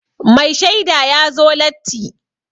Mai shaida ya zo latti.